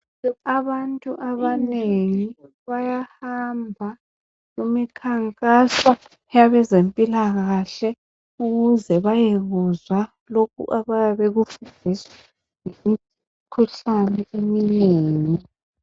Abantu abanengi bayahamba kumikhankaso yabezempilakahle ukuze bayekuzwa lokho abayabe bekufundiswa ngemikhuhlane eminengi